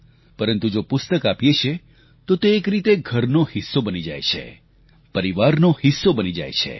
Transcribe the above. પરંતુ જો પુસ્તક આપીએ છીએ તો તે એક રીતે ઘરનો હિસ્સો બની જાય છે પરિવારમાં હિસ્સો બની જાય છે